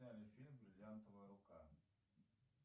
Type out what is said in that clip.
сняли фильм бриллиантовая рука